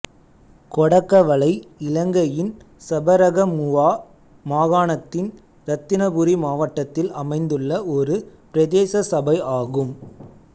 கொடகவளை இலங்கையின் சபரகமுவா மாகாணத்தின் இரத்தினபுரி மாவட்டத்தில் அமைந்துள்ள ஒரு பிரதேச சபை ஆகும்